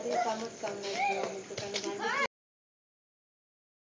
ते कामच काम